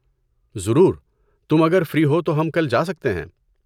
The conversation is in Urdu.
ضرور، تم اگر فری ہو تو ہم کل جا سکتے ہیں۔